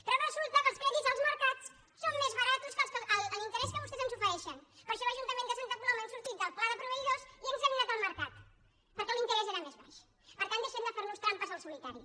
però resulta que els crèdits als mercats són més barats que l’interès que vostès ens ofereixen per això l’ajuntament de santa coloma hem sortit del pla de proveïdors i hem anat al mercat perquè l’interès era més baix per tant deixemnos de fer trampes al solitari